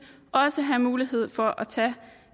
også have mulighed for at tage